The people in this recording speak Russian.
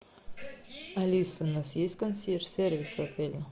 алиса у нас есть консьерж сервис в отеле